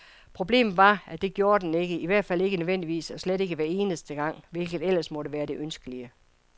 Problemet var, at det gjorde den ikke, i hvert fald ikke nødvendigvis og slet ikke hver eneste gang, hvilket ellers måtte være det ønskelige.